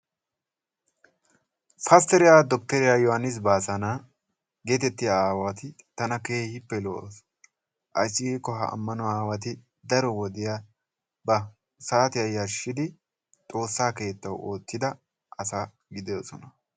Pastteriya Dokteriya Yohaannis Baassanna geetettiya aawati tana keehippe lo"oosona. Ayssi giikko ha ammanuwa aawati daro wodiya ba saatiya yarshshidi xoossaa keettawu oottida asa gididosona.